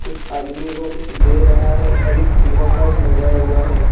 कुछ आदमी को कुछ दे रहा है और एक तिरंगा भी लगाया हुआ है।